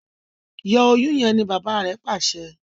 Yọ Oyún yén! ní bàbá rẹ pàṣẹ.